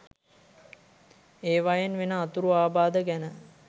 ඒවයෙන් වෙන අතුරු ආබාධ ගැන